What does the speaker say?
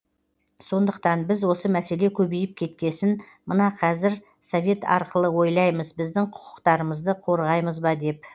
сондықтан біз осы мәселе көбейіп кеткесін мына кәзір совет арқылы ойлаймыз біздің құқықтарымызды қорғаймыз ба деп